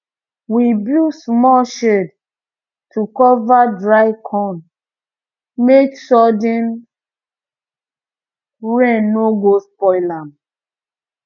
we build small shed to cover dry corn make sudden rain no go spoil am